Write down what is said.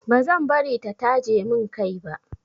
Ba zan bari ta taje min kai ba.